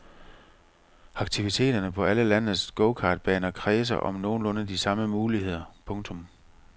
Aktiviteterne på alle landets gokartbaner kredser om nogenlunde de samme muligheder. punktum